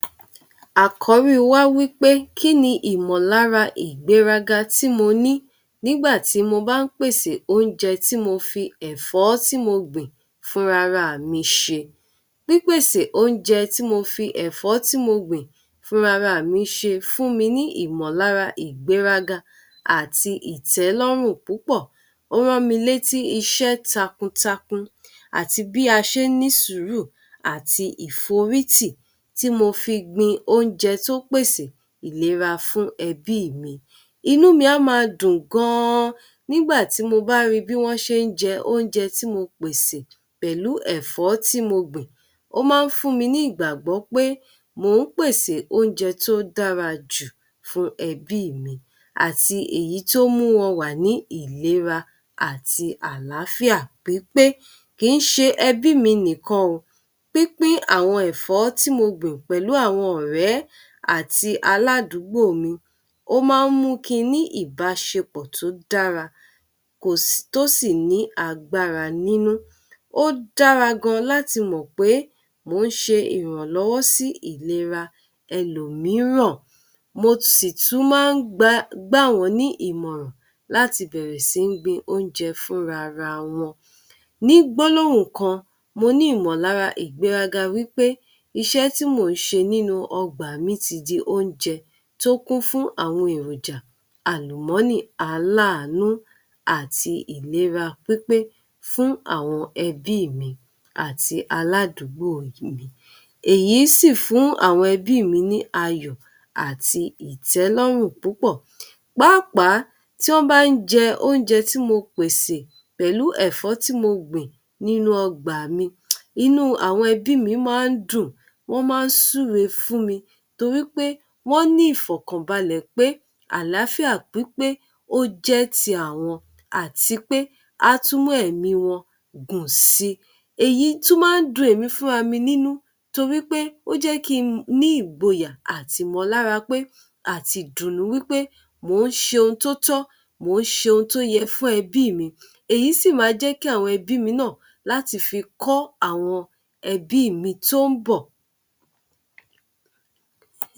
Àkọ́rí wa wí pé kí ni ìmọ̀lára ìgbéraga tí mo ní nígbà tí mo bá ń pèsè oúnjẹ tí mo fi ẹ̀fọ́ tí mo gbìn fúnra ra mi sè. Pípèsè oúnjẹ tí mo fi ẹ̀fọ́ tí mo gbìn fúnra ra mi sè fún mi ní ìmọ̀lára ìgbéraga àti ìtẹ́lọ́rùn púpọ̀. Ó rán mi létí iṣẹ́ takuntakun, àti bí a ṣe ń ní sùúrù àti ìforítì tí mo fi gbin oúnjẹ tó pèsè ìlera fún ẹbí mi. Inú mi a máa dùn gan-an nígbà tí mo bá rí bí wọ́n ṣe ń jẹ oúnjẹ tí mo pèsè pẹ̀lú ẹ̀fọ́ tí mo gbìn. Ó máa ń fún mi ní ìgbàgbọ́ pé mò ń pèsè oúnjẹ tó dára jù fún ẹbí mi, àti èyí tí ó mú wọn wà ní ìlera àti àlàáfíà pípé. Kì í ṣe ẹbí mi nìkan o, pínpín àwọn ẹ̀fọ́ tí mo gbìn pẹ̀lú àwọn ọ̀rẹ́ àti aládùúgbò mi, ó máa ń mú kí n ní ìbáṣepọ̀ tó dára, tó sì ní agbára nínú. Ó dára gan-an láti mọ̀ pé mò ń ṣe ìrànlọ́wọ́ sí ìlera ẹlòmíràn, mo sì tún máa ń gbà wọ́n ní ìmọ̀ràn láti bẹ̀rẹ̀ sí gbin oúnjẹ fúnra ra wọn. Ní gbólóhùn kan, mo ní ìmọ̀lára ìgbéraga wí pé iṣẹ́ tí mò ń ṣe nínú ọgbà mi ti di oúnjẹ tó kún fún àwọn èròjà àlùmọ́nì aláàánú àti ìlera pípé fún àwọn ẹbí mi àti aládùúgbò mi. Èyí sì fún àwọn ẹbí mi ní ayọ̀ àti ìtélọ́rùn púpọ̀. Pàápàá tí wọ́n bá ń jẹ oúnjẹ tí mo pèsè pẹ̀lú ẹ̀fọ́ tí mo gbìn nínú ọgbà mi, inú àwọn ẹbí mi máa ń dùn, wọ́n máa ń súre fún mi torí pé wọ́n ní ìfọ̀kànbalẹ̀ pé àlàáfíà pípé ó jẹ́ ti àwọn, àti pé á tún mú ẹ̀mí wọn gùn si. Èyí tún máa n dun èmi fúnra mi nínú, torí pé ó jẹ́ kí n ní ìgboyà àti ìmọ̀lára pé àti ìdùnnú wí pé mò ń ṣe ohun tó tọ́, mò ń ṣe ohun tó yẹ fún ẹbí mi, èyí sì máa jẹ́ kí àwọn ẹbí mi náà láti fi kọ́ àwọn ẹbí mi tó ń bọ̀.